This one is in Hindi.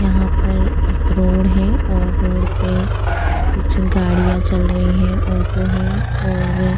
यहाँ पर एक रोड है और रोड पे कुछ गाड़ियाँ चल रही हैं ओटो है और --